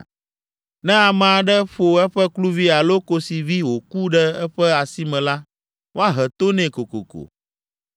“Ne ame aɖe ƒo eƒe kluvi alo kosivi wòku ɖe eƒe asi me la, woahe to nɛ kokoko.